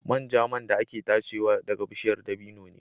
Manja man da ake tachewa ɗaga bishiyar dabino ne.